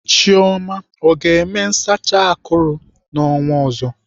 Chioma ọ ga-eme nsacha akụrụ n'ọnwa ọzọ?